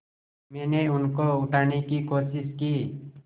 मैंने उनको उठाने की कोशिश की